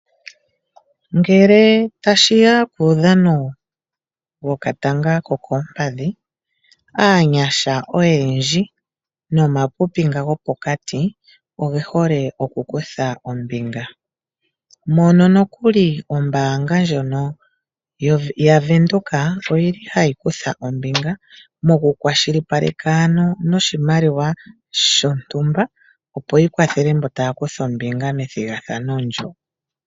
Ngele tashiya kuudhano wokatanga kokoompadhi, aanyasha oyendji nomapipi nga gopokati oge hole oku kutha ombinga, mono nokuli ombaanga ndjono yaVenduka oyili hayi kutha ombinga mokukwashilipaleka ano noshimaliwa shontumba, opo yi kwathele mbo taya kutha ombinga methigathano ndyo.